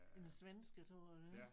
En svensker tror jeg det er